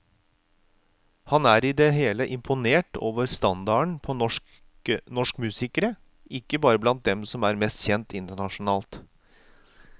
Han er i det hele imponert over standarden på norsk musikere, ikke bare blant dem som er mest kjent internasjonalt.